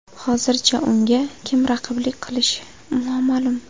Hozircha unga kim raqiblik qilishi noma’lum.